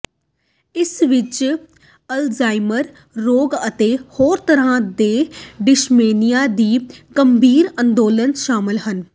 ਇਸ ਵਿੱਚ ਅਲਜ਼ਾਈਮਰ ਰੋਗ ਅਤੇ ਹੋਰ ਤਰ੍ਹਾਂ ਦੇ ਡਿਮੈਂਸ਼ੀਆ ਦੇ ਗੰਭੀਰ ਅੰਦੋਲਨ ਸ਼ਾਮਲ ਹਨ